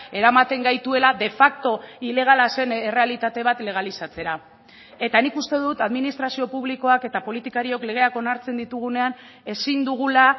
eramaten gaituela de facto ilegala zen errealitate bat legalizatzera eta nik uste dut administrazio publikoak eta politikariok legeak onartzen ditugunean ezin dugula